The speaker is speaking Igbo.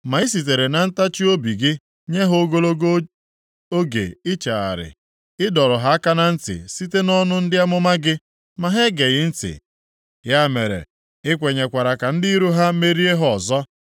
Ma i sitere na ntachiobi gị nye ha ogologo oge ichegharị; ị dọrọ ha aka na ntị site nʼọnụ ndị amụma gị, ma ha egeghị ntị. Ya mere, i kwenyekwara ka ndị iro ha merie ha ọzọ.